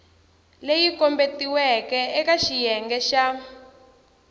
leyi kombetiweke eka xiyenge xa